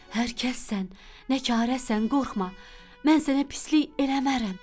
Hər kəsən, nə karəsən, qorxma, mən sənə pislik eləmərəm.